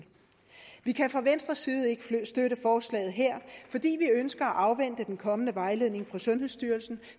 vi kan fra venstres side ikke støtte forslaget her fordi vi ønsker at afvente den kommende vejledning fra sundhedsstyrelsen